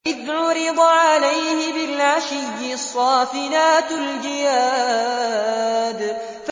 إِذْ عُرِضَ عَلَيْهِ بِالْعَشِيِّ الصَّافِنَاتُ الْجِيَادُ